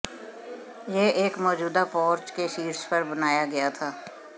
यह एक मौजूदा पोर्च के शीर्ष पर बनाया गया था